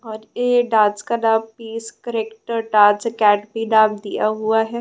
और ये डांस का नाम पीस करेक्टर डांस अकेडमी नाम दिया हुआ है।